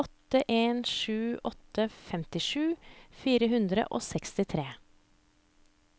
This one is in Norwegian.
åtte en sju åtte femtisju fire hundre og sekstitre